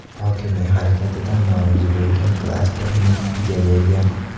Hokimning harakatidan norozi bo‘lgan klaster uni sudga bergan.